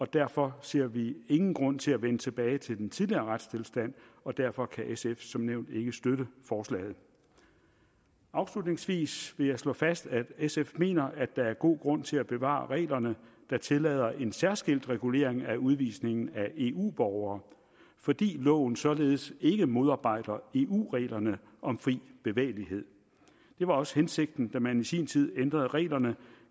derfor ser vi ingen grund til at vende tilbage til den tidligere retstilstand og derfor kan sf som nævnt ikke støtte forslaget afslutningsvis vil jeg slå fast at sf mener at der er god grund til at bevare reglerne der tillader en særskilt regulering af udvisning af eu borgere fordi loven således ikke modarbejder eu reglerne om fri bevægelighed det var også hensigten da man i sin tid ændrede reglerne